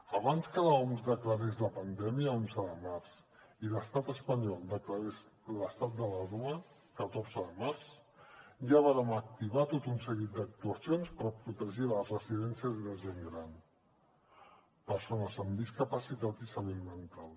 abans que l’oms declarés la pandèmia onze de març i l’estat espanyol declarés l’estat d’alarma catorze de març ja vàrem activar tot un seguit d’actuacions per protegir les residències de gent gran persones amb discapacitat i salut mental